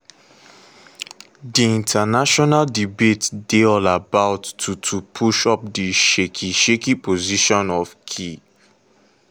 di international debate dey all about to to push up di shaky-shaky position of kyiv.